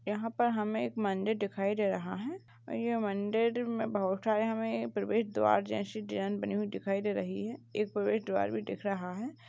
यहां पर हमे एक मंदिर दिखाई दे रहा है। ये मंदिर में बहुत सारे हमे प्रवेश द्वार जैसे डिजाइन बने हुए दिखाई दे रही है। एक प्रवेश द्वार भी दिख रहा है।